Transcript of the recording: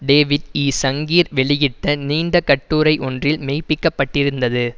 David E Sanger வெளியிட்ட நீண்ட கட்டுரை ஒன்றில் மெய்ப்பிக்கப்பட்டிருந்தது